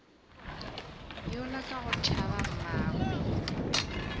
yola ka go tšhaba mmagwe